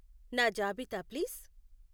నా జాబితా ప్లీజ్.